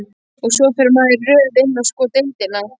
Og svo fer maður í röð inn á sko deildina.